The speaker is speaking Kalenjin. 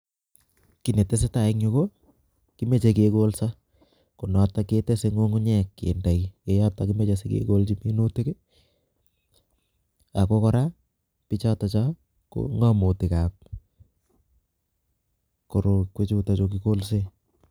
Kiy ne tesetai eng yu ko, kimeche kekolso, ko noto ketese ngungunyek kendoi keyoto kimoche sikekolchi minutik ii, ako kora pichotocho ko ngamotikab korokwe chutochu kikolse.